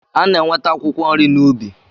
A na-enweta akwụkwọ nri n'ubi.